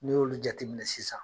N'i y'olu jateminɛ sisan